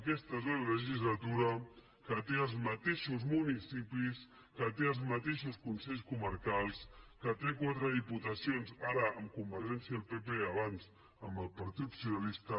aquesta és la legislatura que té els mateixos municipis que té els mateixos consells comarcals que té quatre diputacions ara amb convergència i el pp abans amb el partit socialista